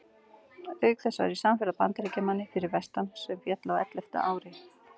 Auk þess var ég samferða Bandaríkjamanni fyrir vestan sem féll á ellefta ári.